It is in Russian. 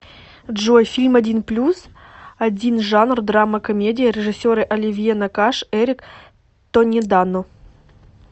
джой фильм один плюс один жанр драма комедия режиссеры оливье накаш эрик тонедано